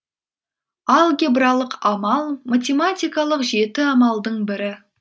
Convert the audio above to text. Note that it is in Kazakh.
амал математикалық жеті амалдың бірі